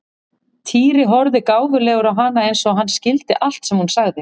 Týri horfði gáfulegur á hana eins og hann skildi allt sem hún sagði.